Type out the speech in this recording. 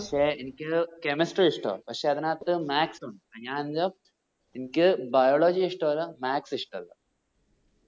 പക്ഷെ എനിക്ക് chemistry ഇഷ്ട്ടവ പക്ഷെ അതിനത്തു maths ഉണ്ട് എനിക്ക് biology ഇഷ്ട്ടല്ലാ maths ഇഷ്ട്ടല്ല